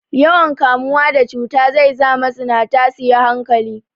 Yawan kamuwa da cuta zai za mazinata su yi hankali.